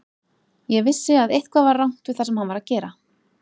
Ég vissi að eitthvað var rangt við það sem hann var að gera.